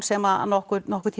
sem nokkurn nokkurn